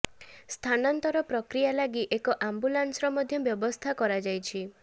ସ୍ଥାନାନ୍ତର ପ୍ରକ୍ରିୟା ଲାଗି ଏକ ଆମ୍ୱୁଲାନ୍ସର ମଧ୍ୟ ବ୍ୟବସ୍ଥା କରାଯାଇଛି